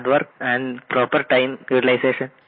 hard work and proper time utilisation